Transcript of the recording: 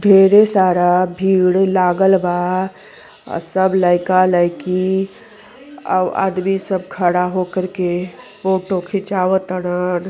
ढेरे सारा भीड़ लागल बा। सब लईका लाईकी औ आदमी सब खड़ा होकर के फोटो खिचवात तडन।